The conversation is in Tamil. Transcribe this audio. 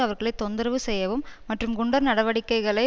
அவர்களை தொந்தரவு செய்யவும் மற்றும் குண்டர் நடவடிக்கைகளை